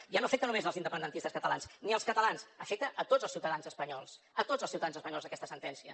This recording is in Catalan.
ja no afecta només els independentistes catalans ni els catalans afecta a tots els ciutadans espanyols a tots els ciutadans espanyols aquesta sentència